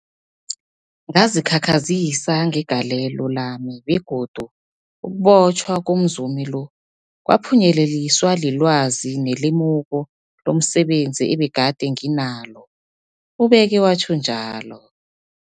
Ngazikhakhazisa ngegalelo lami, begodu ukubotjhwa komzumi lo kwaphunyeleliswa lilwazi nelemuko lomse benzi ebegade nginalo, ubeke watjho njalo.